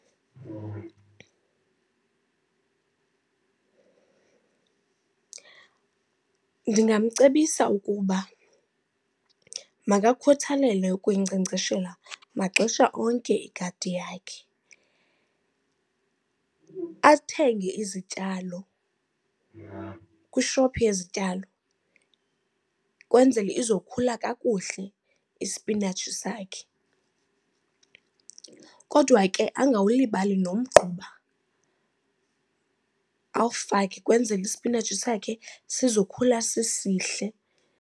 Ndingamcebisa ukuba makakhuthalele ukuyinkcenkceshela maxesha onke igadi yakhe. Athenge izityalo kwishophu yezityalo kwenzele izokhula kakuhle isipinatshi sakhe, kodwa ke angawulibali nomgquba. Awufake kwenzele isipinatshi sakhe sizokhula sisihle.